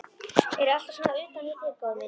Ertu alltaf svona utan við þig, góði minn?